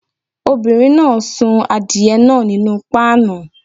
Obìnrin náà sun adìye náà nínú páànù.